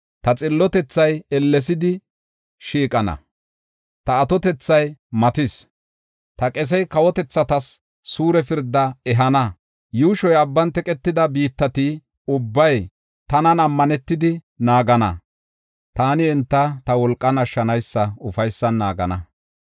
Ta xillotethay ellesidi shiiqana; ta atotethay matis; ta qesey kawotethatas suure pirdaa ehana. Yuushoy abban teqetida biittati ubbay tanan ammanetidi naagana; taani enta ta wolqan ashshanaysa ufaysan naagana.